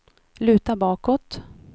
luta bakåt